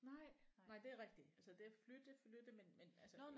Nej nej det er rigtigt altså det at flytte flytte men men altså